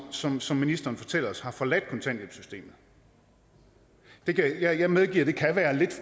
som som ministeren fortæller os har forladt kontanthjælpssystemet jeg medgiver at det kan være